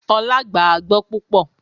Olá gbàágbọ́ púpọ̀